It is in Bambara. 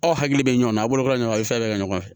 Aw hakili bɛ ɲɔn na a b'olu ka ɲɔgɔn ye fɛn bɛɛ bɛ kɛ ɲɔgɔn fɛ